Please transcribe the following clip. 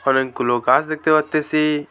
অনেকগুলো গাছ দেখতে পারতেছি।